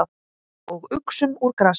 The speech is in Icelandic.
Og uxum úr grasi.